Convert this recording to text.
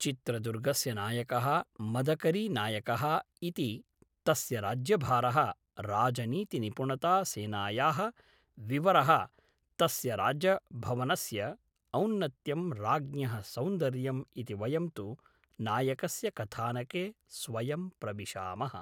चित्रदुर्गस्य नायकः मदकरी नायकः इति तस्य राज्यभारः राजनीतिनिपुणता सेनायाः विवरः तस्य राज्यभवनस्य औन्नत्यं राज्ञः सौन्दर्यम् इति वयं तु नायकस्य कथानके स्वयं प्रविशामः